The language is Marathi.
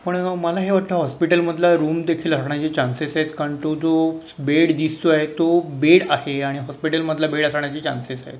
पण मला हे वाटतं हॉस्पिटल मधला रूम देखील हारण्याचे चान्सेस आहेत कारण तो जो बेड दिसतोय तो बेड आहे आणि हॉस्पिटल मधला बेड असण्याचे चान्सेस आहे.